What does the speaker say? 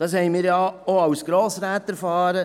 Das haben wir auch als Grossräte erfahren: